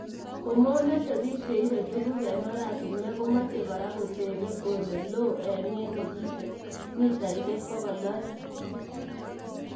Komomete bik che ibei tuguk eng oratinwek komochei Kora kotebe Ole loo eng ye negite mitaisiek bogol oeng